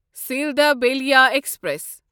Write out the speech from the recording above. Sealdah Ballia express